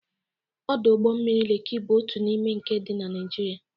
Ọdọ ụgbọ mmiri Leki bụ otu n'ime nke dị na Naịjịrịa.